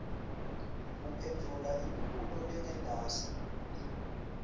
uphendvula imibuto lengentasi